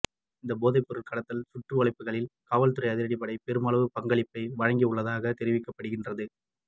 இந்த போதை பொருள் கடத்தல் சுற்றிவளைப்புகளில் காவல்துறை அதிரடிப்படை பெருமளவு பங்களிப்பை வழங்கியுள்ளதாக தெரிவிக்கப்படுகின்றது